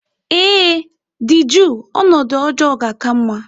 Ee, dị jụụ ọnọdụ ọjọọ ga-aka mma.